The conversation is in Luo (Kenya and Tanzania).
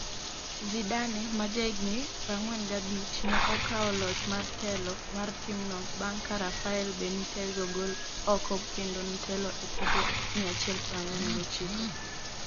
Zidane ma jahigni 45, ne okao loch mar telo mar timno bang' ka Rafael Benitez ogol oko kendo notelo e tuke 149.